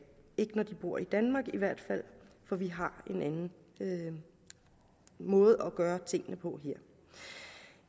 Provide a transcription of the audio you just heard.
ikke når de bor i danmark i hvert fald for vi har en anden måde at gøre tingene på her